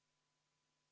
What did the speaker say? Head ametikaaslased!